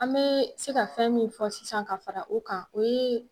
An be se ka fɛn min fɔ sisan ka fara o kan, o ye